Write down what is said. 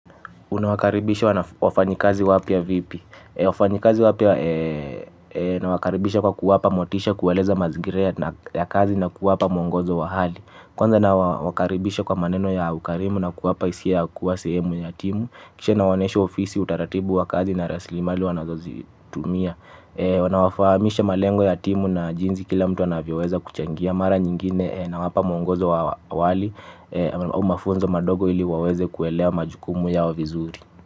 Unawakaribisha wafanyikazi wapya vipi? Wafanyikazi wapya nawakaribisha kwa kuwapa motisha, kuwaeleza mazingira ya kazi na kuwapa mwongozo wa hali. Kwanza nawakaribisha kwa maneno ya ukarimu na kuwapa hisia ya kuwa sehemu ya timu. Kisha nawanesha ofisi, utaratibu wa kazi na rasilimali wanazozitumia. Nawafahamisha malengo ya timu na jinsi kila mtu anavyoweza kuchangia. Na mara nyingine nawapa mwongozo wa awali au mafunzo madogo ili waweze kuelewa majukumu yao vizuri.